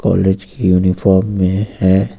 College की uniform में है।